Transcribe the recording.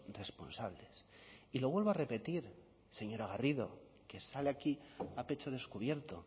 responsables y lo vuelvo a repetir señora garrido que sale aquí a pecho descubierto